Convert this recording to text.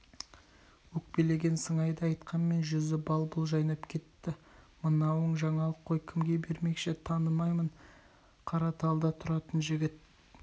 өкпелеген сыңайда айтқанмен жүзі бал-бұл жайнап кетті мынауың жаңалық қой кімге бермекші танымаймын қараталда тұратын жігіт